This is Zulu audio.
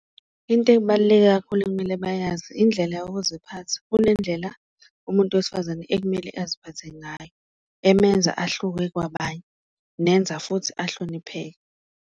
Into ebaluleke kakhulu okumele bayazi indlela yokuziphatha, kunendlela umuntu wesifazane ekumele aziphathe ngayo emenza ahluke kwabanye, nenza futhi uhlonipheke.